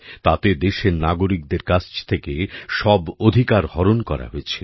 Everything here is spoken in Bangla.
তাতে দেশের নাগরিকদের কাছ থেকে সব অধিকার হরণ করা হয়েছিল